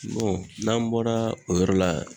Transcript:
n'an bɔra o yɔrɔ la